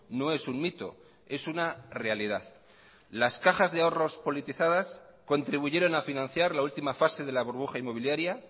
no es un mito es una realidad las cajas de ahorros politizadas contribuyeron a financiar la última fase de la burbuja inmobiliaria